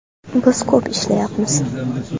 Biz ko‘p ishlayapmiz.